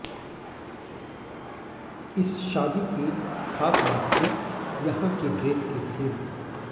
इस शादी की खास बात थी यहां की ड्रेस की थीम